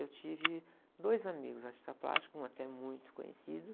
Eu tive dois amigos artistas plásticos, um até muito conhecido.